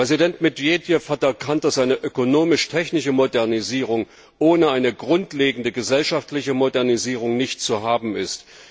Präsident Medvedev hat erkannt, dass eine ökonomisch technische Modernisierung ohne eine grundlegende gesellschaftliche Modernisierung nicht zu haben ist.